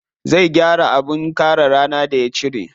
Zai gyara abin kare rana da ya cire.